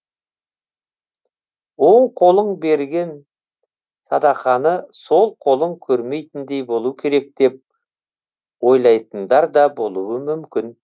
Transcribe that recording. оң қолың берген садақаны сол қолың көрмейтіндей болу керек деп ойлайтындар да болуы мүмкін